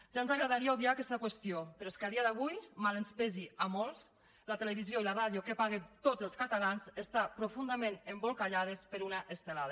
ja ens agradaria obviar aquesta qüestió però és que a dia d’avui mal que ens pesi a molts la televisió i la ràdio que paguem tots els catalans estan profundament embolcallades per una estelada